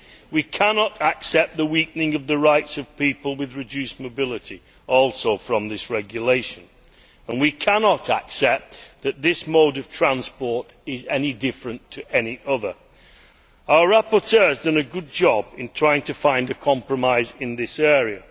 We cannot accept the weakening of the rights of people with reduced mobility also in this regulation. And we cannot accept that this mode of transport is any different to any other. Our rapporteur has done a good job in trying to find a compromise in this area.